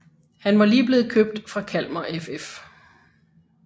Han var lige blevet købt fra Kalmar FF